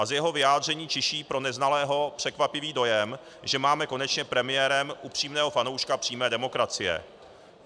A z jeho vyjádření čiší pro neznalého překvapivý dojem, že máme konečně premiérem upřímného fanouška přímé demokracie.